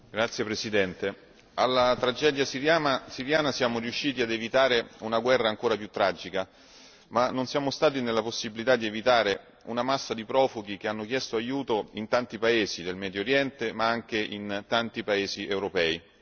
Signor Presidente, onorevoli colleghi, alla tragedia siriana siamo riusciti ad evitare una guerra ancora più tragica, ma non siamo nella possibilità di evitare una massa di profughi che hanno chiesto aiuto in tanti paesi del Medio Oriente, ma anche in tanti paesi europei.